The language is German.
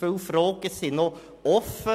Viele Fragen sind noch offen.